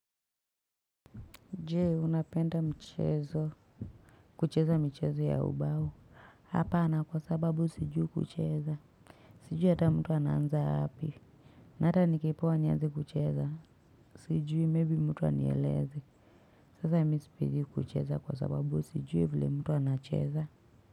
Je! Unapenda mchezo, kucheza michezo ya ubao? Hapana! Kwa sababu sijui kucheza. Sijui ata mtu anaanza wapi. Na ata nikipewa nianze kucheza. Sijui meibi mtu anieleze. Sasa mi sipendi kucheza kwa sababu sijui vile mtu anacheza.